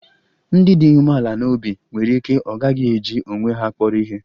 Ndị dị umeala n'obi nwere ike ọ gaghị eji onwe ha kpọrọ ihe